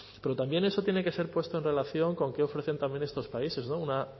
pero también eso tiene que ser puesto en relación con qué ofrecen también estos países una